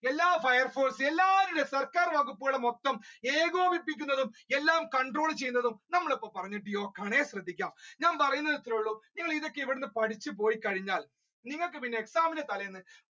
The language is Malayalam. എല്ലാഫയർ ഫോഴ്‌സും സർക്കാർ വകുപ്പുകളെ മൊത്തം ഏകോകിപ്പിക്കുന്നത് control ചെയ്യുന്നത് നമ്മൾ ഇപ്പോൾ പറഞ്ഞ Deeoc ആണേ ശ്രദ്ധിക്കുക ഞാൻ പറയുന്നത് ഇത്രയേ ഉള്ളു നിങ്ങൾ ഇത് ഇവിടെ നിന്ന് പഠിച്ചു പോയി കഴിഞ്ഞാൽ നിങ്ങൾക്ക് പിന്നെ exam ന്റെ തലേന്ന്